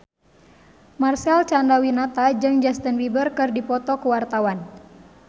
Marcel Chandrawinata jeung Justin Beiber keur dipoto ku wartawan